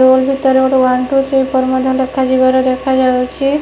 Room ଭିତରେ ଗୋଟେ one two three four ମଧ୍ୟ ଲେଖାଯିବାର ଦେଖାଯାଉଚି।